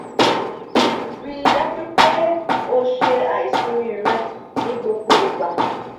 rii daju pe o ṣe aisimi rẹ ni gbogbo igba.